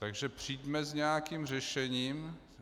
Takže přijďme s nějakým řešením.